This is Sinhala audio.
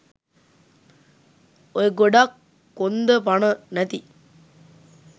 ඔය ගොඩක් කොන්ද පණ නැති